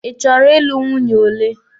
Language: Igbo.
Ị chọrọ ị lụ nwunye ole?